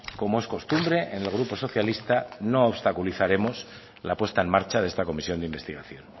como es costumbre en el grupo socialista no obstaculizaremos la puesta en marcha de esta comisión de investigación